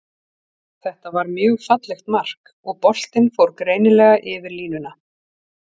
Þetta var mjög fallegt mark, og boltinn fór greinilega yfir línuna.